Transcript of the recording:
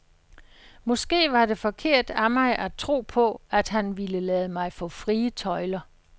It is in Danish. Måske var det forkert af mig at tro på, at han ville lade mig få frie tøjler.